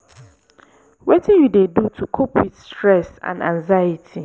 wetin you dey do to cope with stress and anxiety?